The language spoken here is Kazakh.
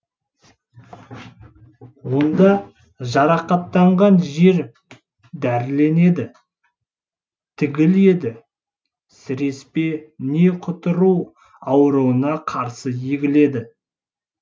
онда жарақаттанған жер дәріленеді тігіледі сіреспе не құтыру ауруына қарсы егіледі